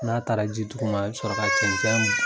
N'a taara ji dugu ma i bɛ sɔrɔ ka cɛnɛn